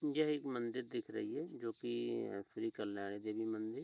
यह एक मंदिर दिख रही है जोकि श्री कल्याणी देवी मंदिर --